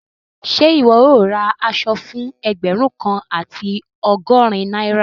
Ṣẹ iwọ yóò rá àṣọ̀ fún ẹgbérùn kan àti ọgọ́rìn Naira?